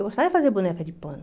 Eu gostava de fazer boneca de pano.